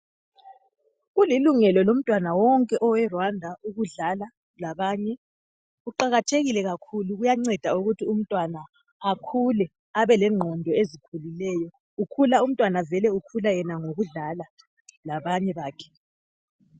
Kulilungelo lomntwana wonke oweRwanda ukudlala labanye. Kuqakathekile kakhulu kuyanceda ukuthi umntwana akhule abe lengqondo ezikhulileyo. Ukhula umntwana vele ukhula yena ngokudlala labanye bakhe.